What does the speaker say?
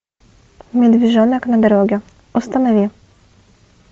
медвежонок на дороге установи